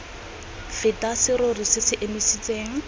feta serori se se emisitseng